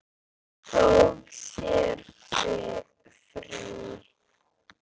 Tók sér frí.